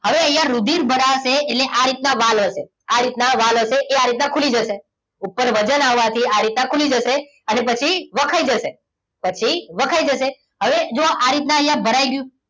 હવે અહીંયા રુધિર ભરાશે એટલે આ રીતે વાલ હશે આ રીતના વાલ હશે એ આ રીતના ખુલી જશે ઉપર વજન આવવાથી આ રીતે ખુલી જશે અને પછી વખાઈ જશે પછી વખાઈ જશે હવે જુઓ આ રીતે અહીંયા ભરાઈ ગયું